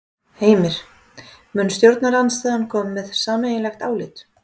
Heimir: Mun stjórnarandstaðan koma með sameiginlegt álit?